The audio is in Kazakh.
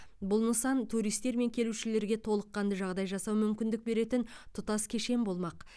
бұл нысан туристер мен келушілерге толыққанды жағдай жасауға мүмкіндік беретін тұтас кешен болмақ